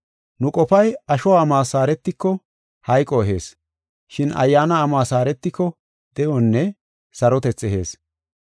Nu qofay asho amos haaretiko hayqo ehees, shin ayyaana amos haaretiko de7onne sarotethi ehees.